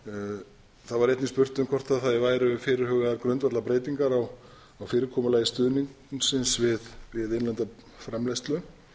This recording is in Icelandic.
betra það var einnig spurt um hvort það væru fyrirhugaðar grundvallarbreytingar á fyrirkomulagi stuðningsins við innlenda framleiðslu